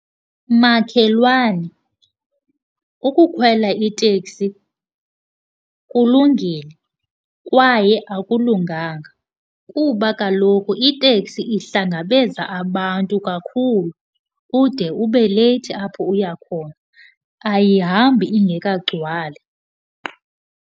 Makhelwane, ukukhwela iteksi kulungile kwaye akulunganga. Kuba kaloku iteksi ihlangabeza abantu kakhulu ude ube leyithi apho uya khona. Ayihambi ingekagcwali.